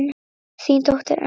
Þín dóttir, Elfa.